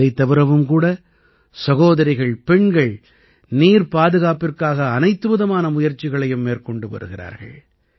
இதைத் தவிரவும் கூட சகோதரிகள்பெண்கள் நீர் பாதுகாப்பிற்காக அனைத்துவிதமான முயற்சிகளையும் மேற்கொண்டு வருகிறார்கள்